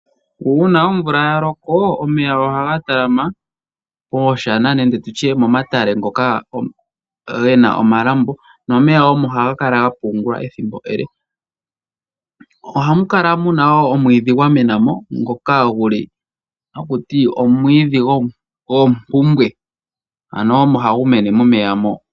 Uuna omvula yaloko omeya ohaga talama mooshana nenge tutye momatale ngoka gena omalambo, nomeya omo haga kala gapungulwa ethimbo ele. Ohamu kala muna woo omwidhi gwamena mo ngoka haku ti omwiidhi gomkumbwe, ano omo hagu mene momeya mo.